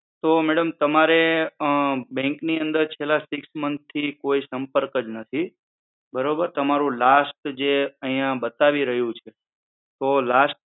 તો madam તમારે અ bank ની અંદર છેલ્લા six month થી કોઈ સંપર્ક જ નથી બરોબર. તમારું last જે અહિયાં બતાવી રહ્યું છે તો last